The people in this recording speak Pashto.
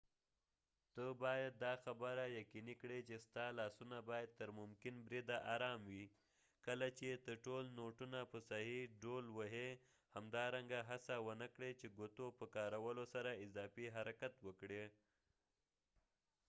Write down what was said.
ته باید دا خبره یقینی کړي چې ستا لاسونه باید تر ممکن بریده ارام وي کله چې ته ټول نوټونه په صحیح ډول وهی همدارنګه هڅه ونه کړي چې ګوتو په کارولو سره اضافی حرکت وکړي